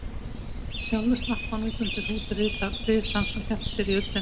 Sjálfur slapp hann út undir hrút risans og hélt sér í ullina.